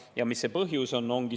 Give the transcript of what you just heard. Ja mis see põhjus on?